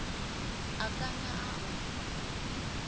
a kanya a ḓa o